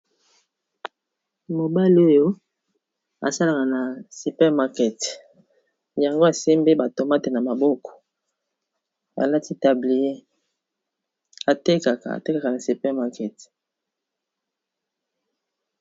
mobali oyo asalaka na supermarkete yango asembi batomate na maboko alati tablier aatekaka na supermarkete